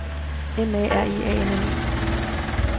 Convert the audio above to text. M A R I A N N E